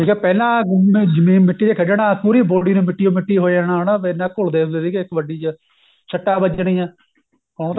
ਜਿੱਥੇ ਪਹਿਲਾਂ ਹੁਣ ਜਿਵੇਂ ਮਿੱਟੀ ਤੇ ਖੇਡਣਾ ਪੂਰੀ body ਨੇ ਮਿੱਟੀ ਓ ਮਿਟੀ ਹੋ ਜਾਣਾ ਹਨਾ ਪਹਿਲਾਂ ਘੁਲਦੇ ਹੁੰਦੇ ਸੀਗੇ ਕਬੱਡੀ ਚ ਸੱਟਾਂ ਵਜਣੀਆਂ ਉਹ